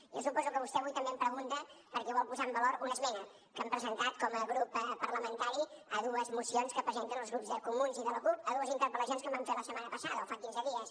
jo suposo que vostè avui també em pregunta perquè vol posar en valor una esmena que han presentat com a grup parlamentari a dues mocions que presenten els grups de comuns i de la cup a dues interpel·lacions que em van fer la setmana passada o fa quinze dies